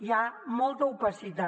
hi ha molta opacitat